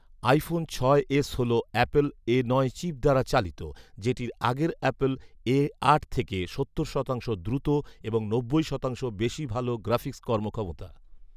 iPhone ছয় S হল Apple A নয় চিপ দ্বারা চালিত, যেটির আগের অ্যাপল এ আট থেকে সত্তর শতাংশ দ্রুত এবং নব্বই শতাংশ বেশি ভাল গ্রাফিক্স কর্মক্ষমতা